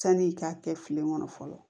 Sani i k'a kɛ filen kɔnɔ fɔlɔ